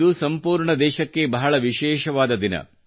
ಇದು ಸಂಪೂರ್ಣ ದೇಶಕ್ಕೆ ಬಹಳ ವಿಶೇಷವಾದ ದಿನ